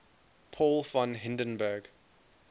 paul von hindenburg